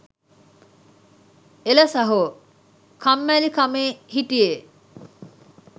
එල සහො කම්මැලිකමේ හිටිහේ